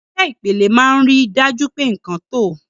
Irinṣẹ́ Ìpele máa ń rí i dájú pé nkan tọ́.